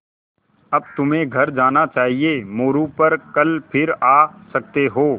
अब तुम्हें घर जाना चाहिये मोरू पर कल फिर आ सकते हो